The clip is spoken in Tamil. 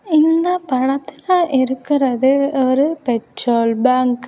இந்த படத்துல இருக்கிறது ஒரு பெட்ரோல் பங்க் .